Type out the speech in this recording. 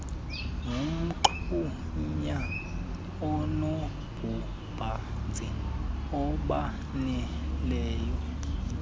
nomgxunya onobubanzi obaneleyo